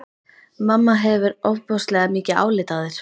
Mamma hefur ofboðslega mikið álit á þér!